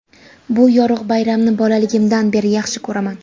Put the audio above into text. Bu yorug‘ bayramni bolaligimdan beri yaxshi ko‘raman.